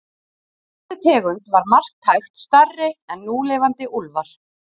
Þessi tegund var marktækt stærri en núlifandi úlfar.